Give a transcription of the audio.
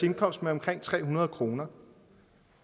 indkomst med omkring tre hundrede kroner